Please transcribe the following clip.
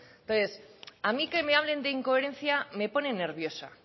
entonces a mí que me hablen de incoherencia me pone nerviosa